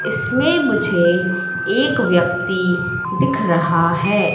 इसमें मुझे एक व्यक्ति दिख रहा है।